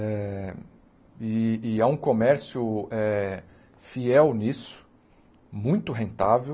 Eh e e há um comércio eh fiel nisso, muito rentável,